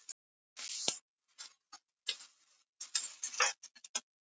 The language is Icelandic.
Undir tenglinum er hægt að fá nánari upplýsingar um hvert og eitt ríki.